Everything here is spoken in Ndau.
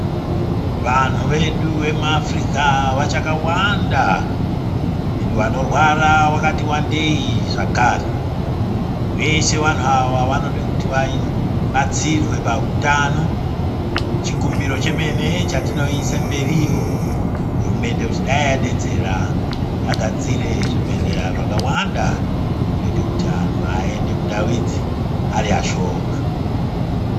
Vantu vedu vemuAfrica vachakawanda endi vanorwara vakati wandei zvakare veshe vantu ava vanoda kuti vabatsirwe pautano chikumbiro chemene chetinoise mberiyo hurumende kuti dai yadetsera yagadzire zvibhedhlera zvakawanda zvinoita kuti anhu aende mundau idzi ari ashoma .